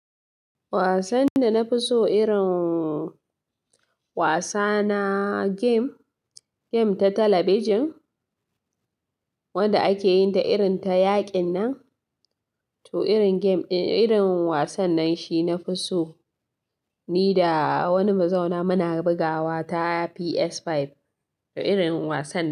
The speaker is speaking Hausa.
Wasan da na fi so irin wasa na game, game ta talabijin wanda ake yin ta irin ta yaƙin nan, to irin game, irin wasan nan shi na fi so ni da wani muzauna muna bugawa ta PS5 irin wasan.